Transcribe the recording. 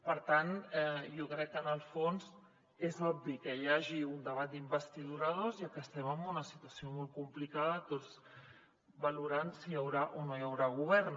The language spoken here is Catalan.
per tant jo crec que en el fons és obvi que hi hagi un debat d’investidura dos ja que estem en una situació molt complicada tots valorant si hi haurà o no hi haurà govern